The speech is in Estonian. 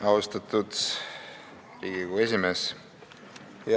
Austatud Riigikogu esimees!